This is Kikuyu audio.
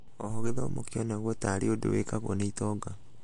oho gĩthomo kĩonagũo tarĩ ũndũ wĩkagũo nĩ itonga.